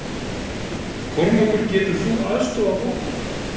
Kormákur getur þú aðstoðað okkur?